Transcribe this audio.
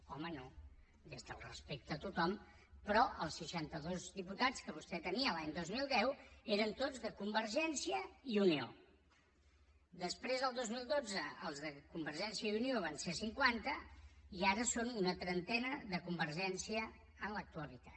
home no des del respecte a tothom però els seixantados diputats que vostè tenia l’any dos mil deu eren tots de convergència i unió després el dos mil dotze els de convergència i unió van ser cinquanta i ara són una trentena de convergència en l’actualitat